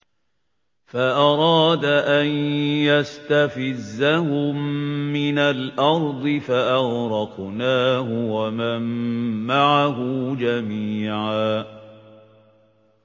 فَأَرَادَ أَن يَسْتَفِزَّهُم مِّنَ الْأَرْضِ فَأَغْرَقْنَاهُ وَمَن مَّعَهُ جَمِيعًا